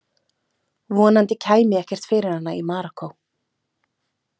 Vonandi kæmi ekkert fyrir hana í Marokkó.